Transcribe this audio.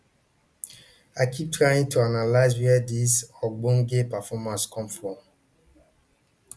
i keep trying to analyse where dis ogbonge performance come from